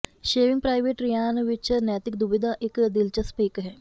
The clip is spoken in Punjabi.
ਸੇਵਿੰਗ ਪ੍ਰਾਈਵੇਟ ਰਿਆਨ ਵਿੱਚ ਨੈਤਿਕ ਦੁਬਿਧਾ ਇੱਕ ਦਿਲਚਸਪ ਇੱਕ ਹੈ